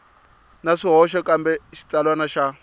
na swihoxo kambe xitsalwana xa